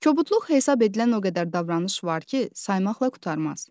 Kobudluq hesab edilən o qədər davranış var ki, saymaqla qurtarmaz.